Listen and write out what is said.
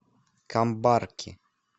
камбарки